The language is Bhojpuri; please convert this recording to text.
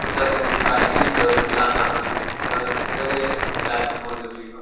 कुत्ता केहु के काटी त नुकसान ना होई त कुत्ता के ईलाज कइल बहुत जरुरी बा।